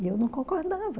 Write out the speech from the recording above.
E eu não concordava.